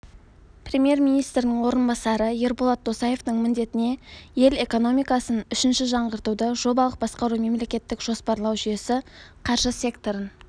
премьер-министрінің орынбасары ерболат досаевтың міндетіне ел экономикасын үшінші жаңғыртуды жобалық басқару мемлекеттік жоспарлау жүйесі қаржы секторын